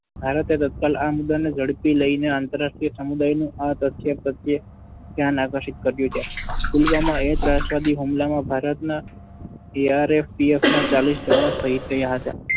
ભારતે ઝડપી લઈને આંતરરાષ્ટ્રીય સમુદાયનું આ તથ્ય પ્રત્યે ધ્યાન આકર્ષિત કર્યું છે. પુલવામાના ત્રાસવાદી હુમલામાં ભારતના CRPF ના ચાલીસ જવાન શહીદ થયા હતા.